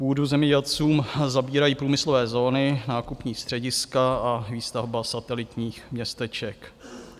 Půdu zemědělcům zabírají průmyslové zóny, nákupní střediska a výstavba satelitních městeček.